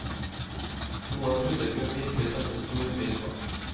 Noe publikum virkelig setter stor pris på.